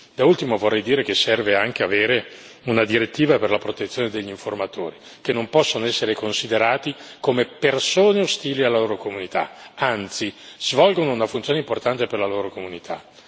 Da ultimo, vorrei dire che serve anche avere una direttiva per la protezione degli informatori, che non possono essere considerati come persone ostili alla loro comunità, anzi svolgono una funzione importante per la loro comunità.